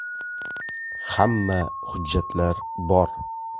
Hamma hujjatlari bor.